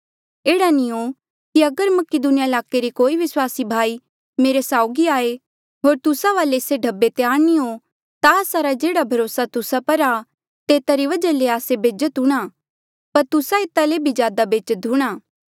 एह्ड़ा नी हो कि अगर मकीदुनिया ईलाके रे कोई विस्वासी भाई मेरे साउगी आये होर तुस्सा वाले से ढब्बे त्यार नी हो ता आस्सा रा जेह्ड़ा भरोसा तुस्सा पर आ तेता री वजहा ले आस्से बेज्जत हूंणा पर तुस्सा एता ले भी ज्यादा बेज्जत हूंणा